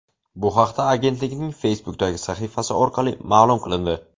Bu haqda agentlikning Facebook’dagi sahifasi orqali ma’lum qilindi .